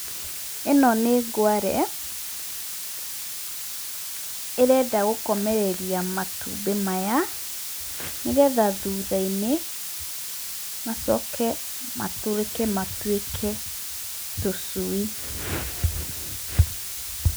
Ino ni ngware irenda gukomereria matumbi maya , nigetha thutha-ini macoke maturike matuike tucui.